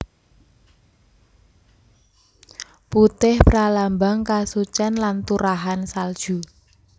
Putih pralambang kasucen lan turahan salju